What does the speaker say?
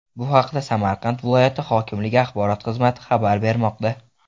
Bu haqda Samarqand viloyat hokimligi axborot xizmati xabar bermoqda .